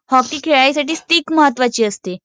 hockey खेळण्यासाठी stick महत्वाची असते